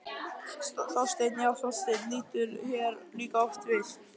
Þorsteinn, já, Þorsteinn lítur hér líka oft við.